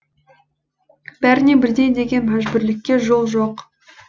бәріне бірдей деген мәжбүрлікке жол жоқ